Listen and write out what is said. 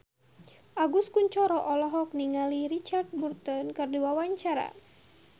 Agus Kuncoro olohok ningali Richard Burton keur diwawancara